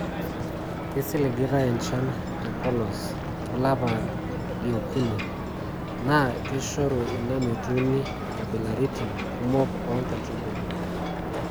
Eisiligitai enchan te polos olapa lie okuni naa keishoru ina metuuni nkabilaritin kumok oo nkaitubulu.